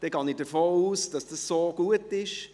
Dann gehe ich davon aus, dass das so gut ist.